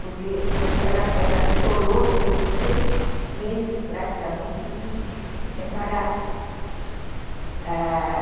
Porque, como eu disse, ela ela chorou durante três meses praticamente seguidos, sem parar.